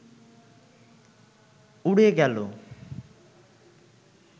উড়ে গেল